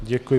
Děkuji.